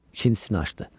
İkincisini açdı.